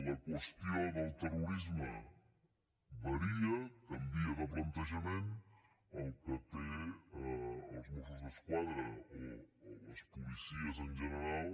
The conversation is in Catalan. la qüestió del terrorisme varia canvia de plantejament el que té els mossos d’esquadra o les policies en general